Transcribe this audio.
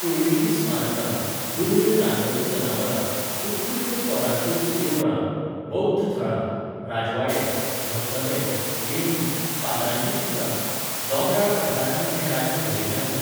पुर्विल्लीं स्मारकां, दुर्मीळ रानवटी जनावरां, उत्कृश्ट कोरांतिल्लीं देवळां, बौध्द थळां, राजवाडे, धबधबे, लेणीं, फातरांचीं चित्रां, दोंगराळ पठारांनी हें राज्य भरिल्लें आसा.